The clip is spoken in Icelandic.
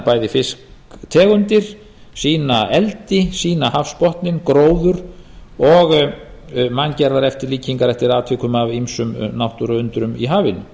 bæði fisktegundir sýna eldi sýna hafsbotninn gróður og manngerðar eftirlíkingar eftir atvikum af ýmsum náttúruundrum í hafinu